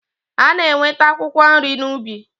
A na-enweta akwụkwọ nri n'ubi.